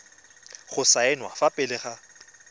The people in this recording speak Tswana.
go saenwa fa pele ga